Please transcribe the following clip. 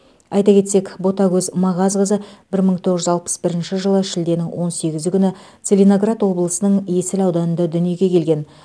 айта кетесек ботагөз мағазқызы бір мың тоғыз жүз алпыс бірінші жылы шілденің он сегізі күні целиноград облысының есіл ауданында дүниеге келген